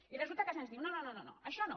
i resulta que se’ns diu no no això no